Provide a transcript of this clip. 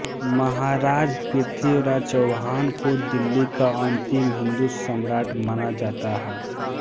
महाराज पृथ्वीराज चौहान को दिल्ली का अन्तिम हिन्दू सम्राट माना जाता है